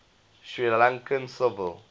sri lankan civil